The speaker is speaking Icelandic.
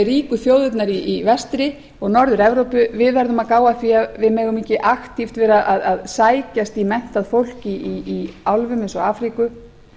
ríku þjóðirnar í vestri og norður evrópu verðum að gá að því að við dögum ekki aktíft vera að sækjast í menntað fólk í álfum eins og afríku